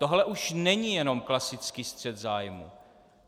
Tohle už není jenom klasický střet zájmů.